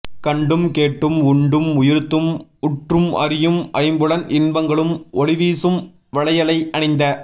கண்டும் கேட்டும் உண்டும் உயிர்த்தும் உற்றும் அறியும் ஐம்புலன் இன்பங்களும் ஒளிவீசும் வளையலை அணிந்த